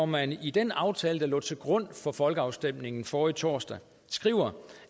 man i den aftale der lå til grund for folkeafstemningen forrige torsdag skriver